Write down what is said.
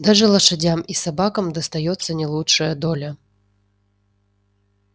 даже лошадям и собакам достаётся не лучшая доля